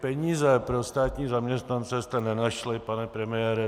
Peníze pro státní zaměstnance jste nenašli, pane premiére.